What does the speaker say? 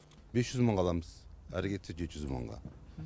бес жүз мыңға аламыз әрі кетсе жеті жүз мыңға